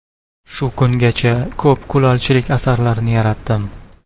Shu kungacha ko‘p kulolchilik asarlarini yaratdim.